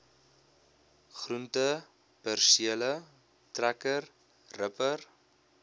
groentepersele trekker ripper